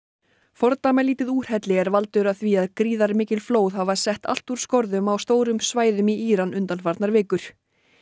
fordæmalítið úrhelli er valdur að því að gríðarmikil flóð hafa sett allt úr skorðum á stórum svæðum í Íran undanfarnar vikur